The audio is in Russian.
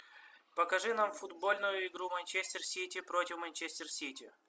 покажи нам футбольную игру манчестер сити против манчестер сити